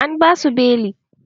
An basu beli